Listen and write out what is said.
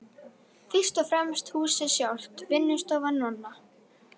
Fyrst og fremst húsið sjálft, vinnustofu Nonna